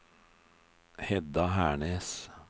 Hedda Hernes